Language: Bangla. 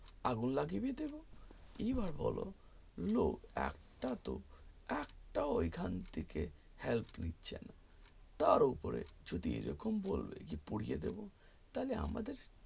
আগুন লাগিয়ে দিতে পারে এই বার বলো no একটা তো একটা ঐখান থেকে help নিচ্ছে না তার ওপরে যদি এইরকম বলবে যে পুড়িয়ে দেব তালে আমাদের